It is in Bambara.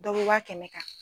Dɔ bɛ wa kɛmɛ kan.